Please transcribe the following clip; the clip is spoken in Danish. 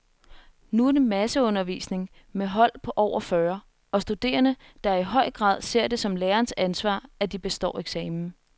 Nu er det masseundervisning med hold på over fyrre , og studerende, der i høj grad ser det som lærerens ansvar, at de består eksamen.